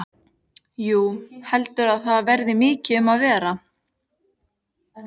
Jú, heldurðu að það verði mikið um að vera?